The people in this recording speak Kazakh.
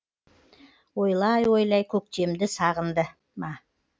ойлай ойлай көктемді сағынды ма